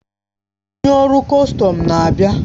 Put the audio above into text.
Onye ọrụ kọstọm na-abịa.